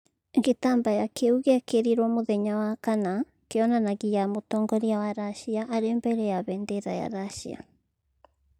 Gĩtambaya kĩu gĩekĩrirwo muthenya wa kana kĩonanagia mũtongoria wa Racia arĩ mbere ya bendera ya Racia.